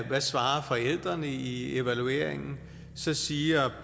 har svaret i evalueringen så siger